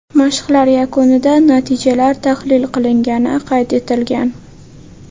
Mashqlar yakunida natijalar tahlil qilingani qayd etilgan.